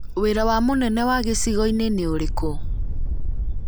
Wĩra wa mũnene wa gĩcigo-inĩ nĩ ũrĩkũ?